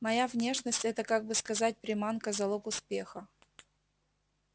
моя внешность это как бы сказать приманка залог успеха